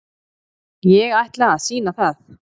Ég ætla að sýna það.